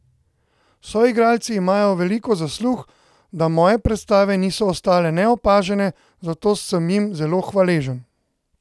Soigralci imajo veliko zaslug, da moje predstave niso ostale neopažene, zato sem jim zelo hvaležen.